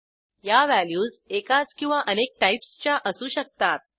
या व्हॅल्यूज एकाच किंवा अनेक टाईप्सच्या असू शकतात